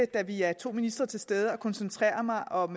da vi er to ministre til stede at koncentrere mig om